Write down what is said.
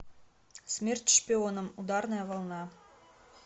смерть шпионам ударная волна